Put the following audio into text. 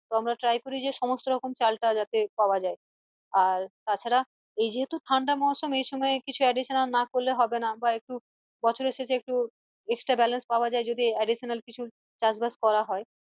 তো আমরা try করি যে সমস্ত রকম চাল টা যাতে পাওয়া যায় আর তাছাড়া এই যেহেতু ঠান্ডা মৌসম এই সময় কিছু additional না করলে হবেনা, বা একটু বছরের শেষে একটু extra balance যাতে পাওয়া যায় যাতে additional কিছু চাষ বাস করা হয়